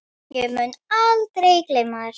Ég mun aldrei gleyma þér.